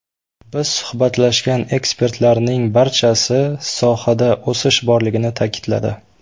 Biz suhbatlashgan ekspertlarning barchasi sohada o‘sish borligini ta’kidladi.